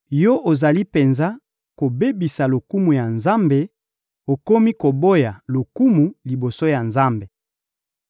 Yo ozali penza kobebisa lokumu ya Nzambe okomi koboya lokumu liboso ya Nzambe.